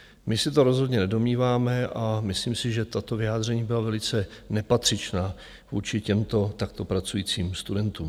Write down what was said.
My se to rozhodně nedomníváme a myslím si, že tato vyjádření byla velice nepatřičná vůči těmto takto pracujícím studentům.